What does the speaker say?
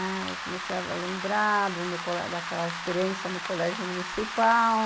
Ah, eu comecei a lembrar daquela experiência no colégio municipal.